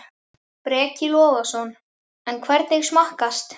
Breki Logason: En hvernig smakkast?